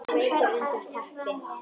Liggur veikur undir teppi.